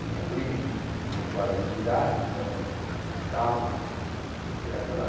Tinha primos que tinham quase a minha idade, então nós visitávamos, et cétera.